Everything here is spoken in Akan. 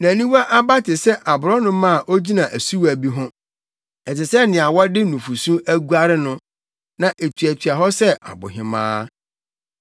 Nʼaniwa aba te sɛ aborɔnoma a ogyina asuwa bi ho; ɛte sɛ nea wɔde nufusu aguare no, na etuatua hɔ sɛ abohemaa.